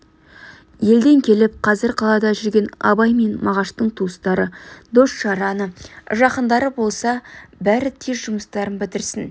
елден келіп қазір қалада жүрген абай мен мағаштың туыстары дос-жараны жақындары болса бәрі де тез жұмыстарын бітірсін